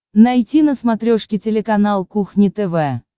найти на смотрешке телеканал кухня тв